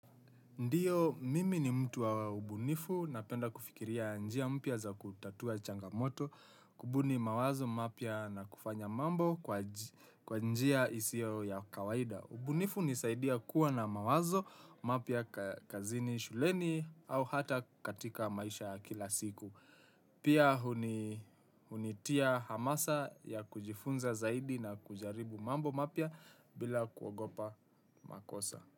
Ndiyo, mimi ni mtu wa ubunifu, napenda kufikiria njia mpya za kutatua changamoto, kubuni mawazo mapya na kufanya mambo kwa njia isio ya kawaida. Ubunifu unisaidia kuwa na mawazo, mapya kazini shuleni au hata katika maisha ya kila siku. Pia hunitia hamasa ya kujifunza zaidi na kujaribu mambo mapya bila kuogopa makosa.